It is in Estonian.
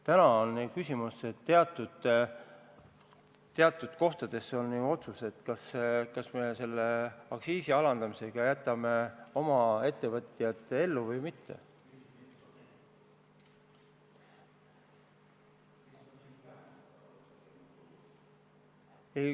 Täna on meil küsimus, kas me aktsiisi alandamisega jätame oma ettevõtjad ellu või mitte.